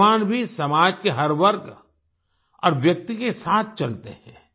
भगवान् भी समाज के हर वर्ग और व्यक्ति के साथ चलते हैं